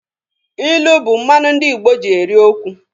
Ilu bụ mmanụ ndị Igbo ji eri okwu.